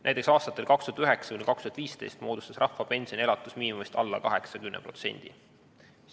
Näiteks, aastatel 2009–2015 moodustas rahvapension elatusmiinimumist alla 80%.